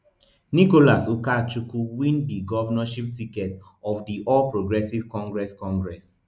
nicholas ukachukwu win di govnornship ticket of di all progressives congress congress